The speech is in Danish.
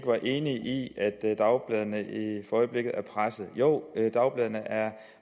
var enig i at dagbladene for øjeblikket er pressede jo dagbladene er